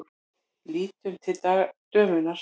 Lítur til dömunnar.